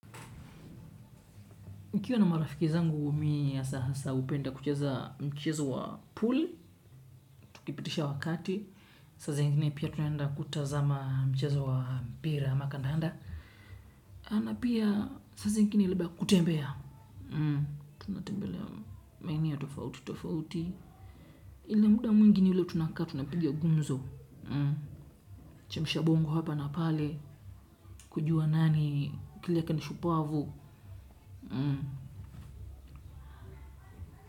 Nikiwa na marafiki zangu, mimi hasahasa hupenda kucheza mchezo wa pool. Tukipitisha wakati. Saa zingine pia tunaenda kutazama mchezo wa mpira ama kandanda. Na pia saa zingine labda kutembea. Tunatembelea maeneo tofauti tofauti. Lakini muda mwingi ni ule tunakaa tunapiga gumzo. Chemusha bongo hapa na pale. Kujua nani akili yake ni shupavu.